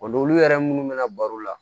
O n'olu yɛrɛ munnu bɛna baro la